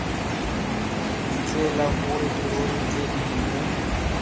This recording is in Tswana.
tsela gore dirori tse dingwe